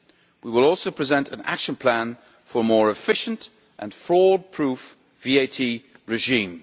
We will also present an action plan for a more efficient and fraud proof VAT regime.